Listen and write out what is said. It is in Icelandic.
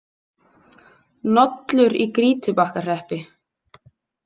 Nollur í Grýtubakkahreppi.